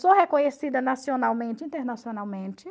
Sou reconhecida nacionalmente e internacionalmente.